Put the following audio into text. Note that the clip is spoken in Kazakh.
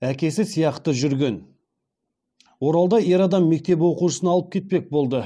әкесі сияқты жүрген оралда ер адам мектеп оқушысын алып кетпек болды